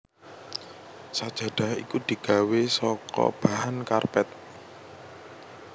Sajadah iku digawé saka bahan karpet